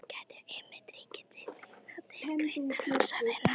Hjá Aristótelesi gætir einmitt ríkrar tilhneigingar til greinandi hugsunar.